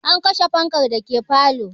An kashe fankan dake falo